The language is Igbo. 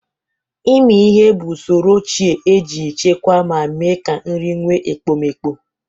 Ịmi ihe bụ usoro ochie e ji echekwa ma mee ka nri nwe ekpomeekpo.